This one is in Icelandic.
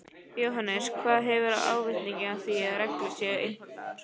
Jóhannes: Hver hefur ávinning af því að reglur séu einfaldaðar?